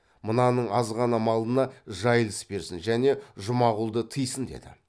мынаның азғана малына жайылыс берсін және жұмағұлды тыйсын деді